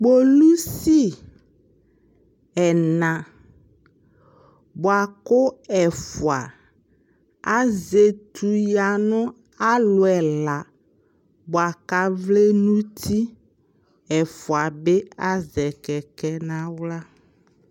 polisi ɛla bʋakʋ ɛƒʋa azɛ ɛtʋ yanʋ alʋ ɛla bʋakʋ avlɛ nʋti, ɛƒʋa bi azɛ kɛkɛ nʋ ala